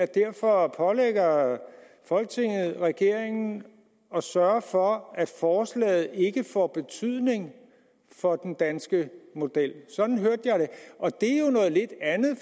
derfor pålægger folketinget regeringen at sørge for at forslaget ikke får betydning for den danske model sådan hørte